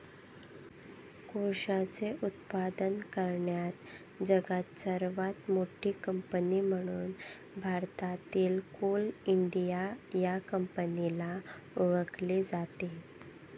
कोळशाचे उत्पादन करण्यात जगात सर्वात मोठी कंपनी म्हणून भारतातील कोल इंडिया या कंपनीला ओळखले जाते.